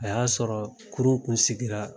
A y'a sɔrɔ kurun kun sigira